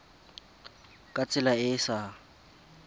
ka tsela e e sa